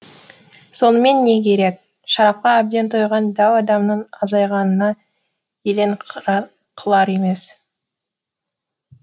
сонымен не керек шарапқа әбден тойған дәу адамның азайғанын елең қылар емес